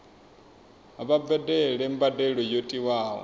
vha badele mbadelo yo tiwaho